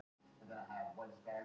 Með brúnan bréfpoka yfir höfðinu?